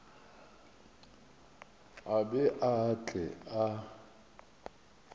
a be a tle a